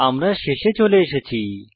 আমরা শেষে চলে এসেছি